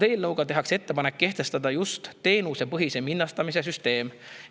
Eelnõu kohaselt tehakse ettepanek kehtestada teenusepõhise hinnastamise süsteem.